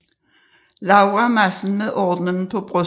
Laura Madsen med ordenen på brystet